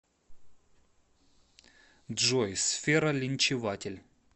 джой сфера линчеватель